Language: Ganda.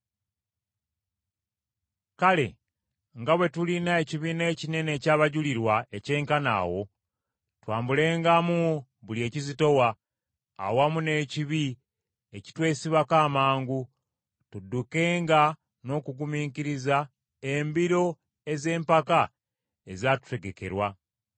Kale nga bwe tulina ekibiina ekinene eky’abajulirwa ekyenkana awo, twambulengamu buli ekizitowa, awamu n’ekibi ekitwesibako amangu, tuddukenga n’okugumiikiriza embiro ez’empaka ezatutegekerwa,